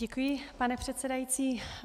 Děkuji, pane předsedající.